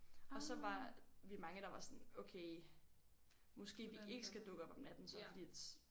Og så var vi mange der var sådan okay måske vi ikke skal dukke op om natten så fordi at